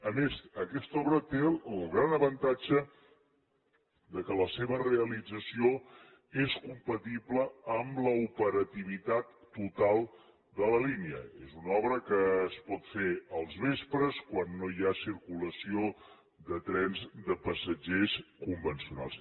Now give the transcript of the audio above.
a més aquesta obra té el gran avantatge que la seva realització és compatible amb l’operativitat total de la línia és una obra que es pot fer als vespres quan no hi ha circulació de trens de passatgers convencionals